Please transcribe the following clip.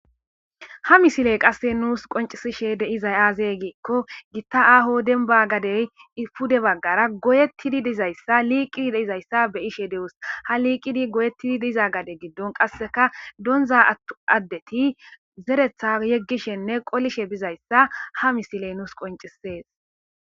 ha misiley qasse nuus qoncisishe deizay aazey giikko gitta aaho denba gadey fude baggara goyettidi dizayssa liiqidi deizayssa be ishe dewus ha liiqidi goyettidi diza gade giddon qasseka donza attu addeti zeretha yeggishenne qolishe bizayssa ha misiley nuus qoncisees